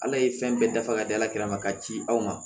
Ala ye fɛn bɛɛ dafa ka di ala kɛlɛ ma k'a ci aw ma